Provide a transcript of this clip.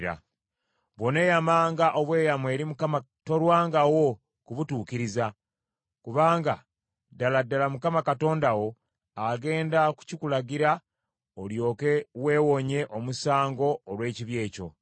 “Bw’oneeyamanga obweyamo eri Mukama tolwangawo kubutuukiriza, kubanga ddala ddala Mukama Katonda wo agenda kukikulagira olyoke weewonye omusango olw’ekibi ekyo.